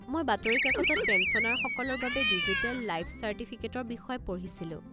মই বাতৰিকাকতত পেঞ্চনাৰসকলৰ বাবে ডিজিটেল লাইফ চাৰ্টিফিকেটৰ বিষয়ে পঢ়িছিলোঁ।